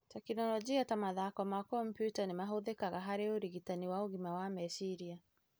Tekinoronjĩ ta mathako ma kompiuta nĩ mahũthĩkaga harĩ ũrigitani wa ũgima wa meciria,